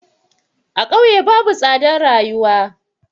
A ƙauye babu tsadan rayuwa.